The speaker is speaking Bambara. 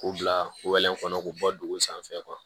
K'u bila kɔnɔ k'u bɔ dugun sanfɛ